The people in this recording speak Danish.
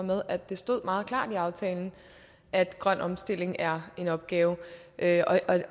med at det stod meget klart i aftalen at grøn omstilling er en opgave